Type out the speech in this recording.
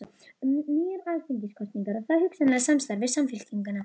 Um nýjar alþingiskosningar og þá hugsanlega samstarf við Samfylkinguna?